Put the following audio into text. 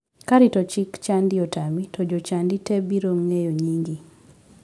Ka rito chik chadi otami to jochadi te biro ng'eyo nyingi.